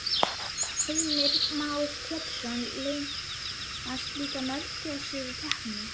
Heimir Már Pétursson: Leynast líka möguleikar í kreppunni?